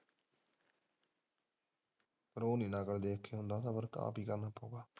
ਪਰ ਉਹ ਨਹੀਂ ਹੁੰਦਾ ਦੇਖ ਕੇ ਸਬਰ ਆਪ ਹੀ ਕਰਨਾ ਪਾਓ।